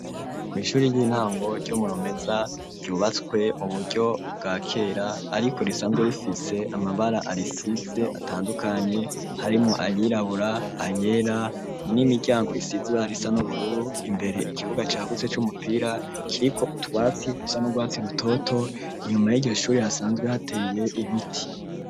Kw 'ishure ry'intango ryo muromeza ryubatswe mu buryo bwakera ariko risanzwe rifitse amabara arisize atandukanye harimo ayirabura ayera n'imiryango isize ibara risa n'ubururu imbere ikibuga cagutse c'umupira kiriko utwatsi dusa nurwatsi rutoto inyuma y'igishure hasanzwe hateriye ibiti.